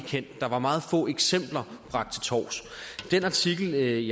kendt der var meget få eksempler bragt til torvs den artikel i